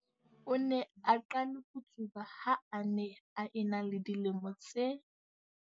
O ne a qale ho tsuba ha a ne a ena le dilemo tse.